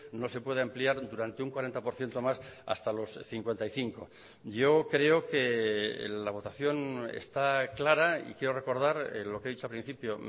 no se puede ampliar durante un cuarenta por ciento más hasta los cincuenta y cinco yo creo que la votación está clara y quiero recordar lo que he dicho al principio